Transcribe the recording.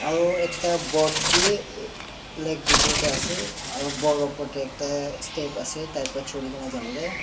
aro ekta board bi eh lake bitor te ase aro board opor te ekta step ase tai pra choi kena jabo ley.